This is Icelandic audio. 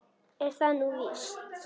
Er það nú víst ?